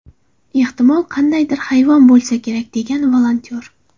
Ehtimol, qandaydir hayvon bo‘lsa kerak”, degan volontyor.